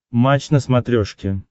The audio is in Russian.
матч на смотрешке